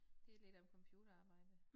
Det lidt af et computerarbejde